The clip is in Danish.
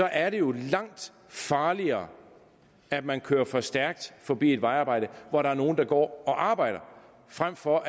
er det jo langt farligere at man kører for stærkt forbi et vejarbejde hvor der er nogle der går og arbejder frem for